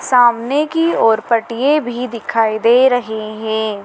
सामने की और पटिए भी दिखाई दे रहे हैं।